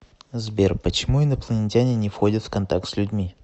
сбер почему инопланетяне не входят в контакт с людьми